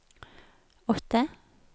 åtte